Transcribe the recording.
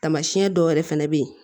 Taamasiyɛn dɔw wɛrɛ fɛnɛ bɛ ye